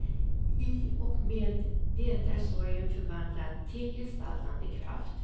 I och med det är sorgen förvandlad till gestaltande kraft.